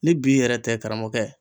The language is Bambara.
Ni bi yɛrɛ tɛ karamɔgɔkɛ